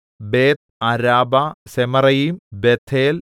ബേത്ത്അരാബ Zemaraim Bethel